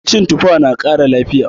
Cin tuffa na kara lafiya